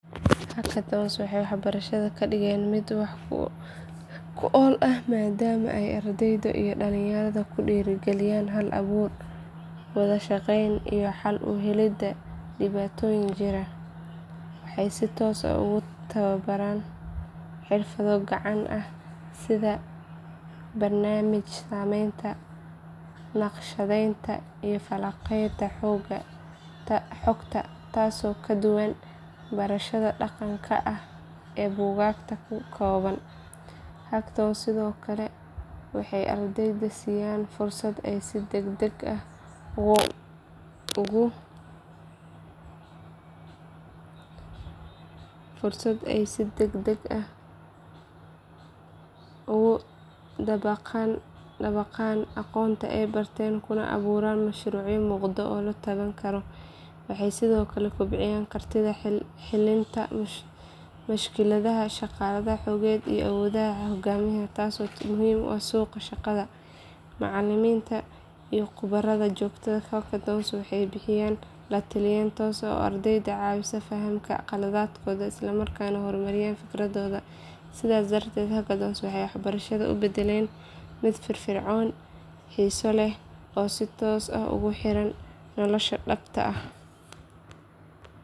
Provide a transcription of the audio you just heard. Hackthons waxay barashada ka dhigeen mid wax ku ool ah maadaama ay ardayda iyo dhalinyarada ku dhiirigeliyaan hal abuur, wada shaqeyn iyo xal u helidda dhibaatooyin jira. Waxay si toos ah ugu tababaraan xirfado gacanta ah sida barnaamij sameynta, naqshadeynta iyo falanqaynta xogta taasoo ka duwan barashada dhaqanka ah ee buugaagta ku kooban. Hackthons sidoo kale waxay ardayda siiyaan fursad ay si degdeg ah ugu dabaqaan aqoonta ay barteen kuna abuuraan mashruucyo muuqda oo la taaban karo. Waxay sidoo kale kobciyaan kartida xallinta mushkiladaha, shaqada kooxeed iyo awoodda hoggaamineed taasoo muhiim u ah suuqa shaqada. Macallimiinta iyo khubarada jooga hackthons waxay bixiyaan la taliyeyn toos ah oo ardayda ka caawisa inay fahmaan khaladaadkooda isla markaana horumariyaan fikradahooda. Sidaas darteed hackthons waxay barashada u beddeleen mid firfircoon, xiiso leh oo si toos ah ugu xiran nolosha dhabta ah.